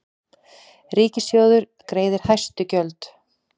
Ríkissjóður greiðir hæst gjöld